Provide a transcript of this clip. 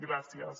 gràcies